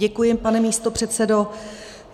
Děkuji, pane místopředsedo.